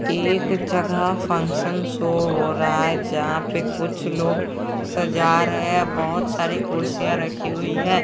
एक जगह function show हो रहा है जहां पे कुछ लोग सजा रहे बहोत सारी कुर्सियां रखी हुई है।